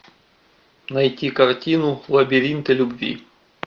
найти картину лабиринты любви